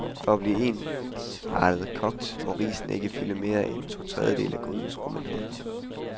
For at blive ensartet kogt, må risene ikke fylde mere end totredjedele af grydens rumindhold.